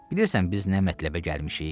Bilirsən biz nə mətləbə gəlmişik?